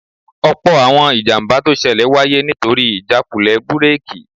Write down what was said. Ọ̀pọ̀ àwọn ìjàmbá tó ṣẹlẹ̀ wáyé nítorí ìjákulẹ̀ búrèkì